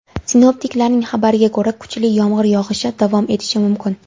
Sinoptiklarning xabariga ko‘ra, kuchli yomg‘ir yog‘ishi davom etishi mumkin.